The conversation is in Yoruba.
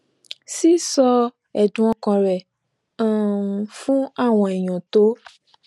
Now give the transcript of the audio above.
sísọ ẹdùn ọkàn rẹ um fún àwọn èèyàn tó